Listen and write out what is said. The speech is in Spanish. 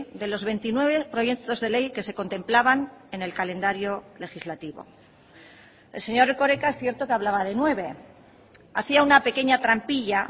de los veintinueve proyectos de ley que se contemplaban en el calendario legislativo el señor erkoreka es cierto que hablaba de nueve hacía una pequeña trampilla